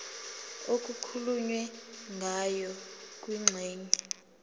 okukhulunywe ngayo kwingxenye